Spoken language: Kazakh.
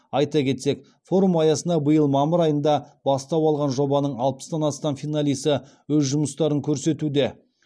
айта кетсек форум аясына биыл мамыр айында бастау алған жобаның алпыстан астам финалисі өз жұмыстарын көрсетуде